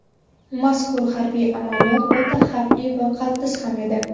Mazkur harbiy amaliyot o‘ta xavfli va qaltis ham edi.